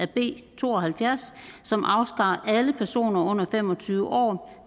b to og halvfjerds som afskar alle personer under fem og tyve år